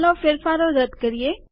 ચાલો ફેરફારો રદ કરીએ